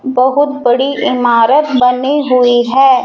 बहोत बड़ी इमारत बनी हुई हैं।